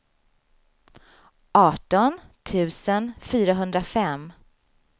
arton tusen fyrahundrafem